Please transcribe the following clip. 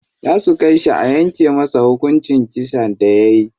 Za su kai shi a yanke masa hukuncin kisan da yayi.